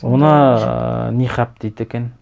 оны нихаб дейді екен